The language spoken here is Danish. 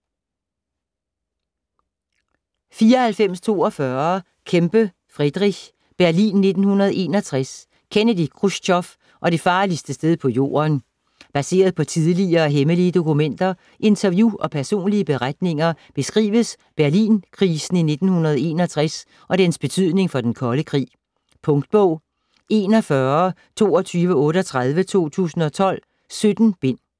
94.42 Kempe, Frederick: Berlin 1961: Kennedy, Khrusjtjov og det farligste sted på jorden Baseret på tidligere hemmelige dokumenter, interview og personlige beretninger beskrives Berlinkrisen i 1961 og dens betydning for den kolde krig. Punktbog 412238 2012. 17 bind.